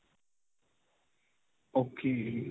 ok.